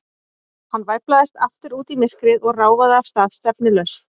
Hann væflaðist aftur út í myrkrið og ráfaði af stað, stefnulaust.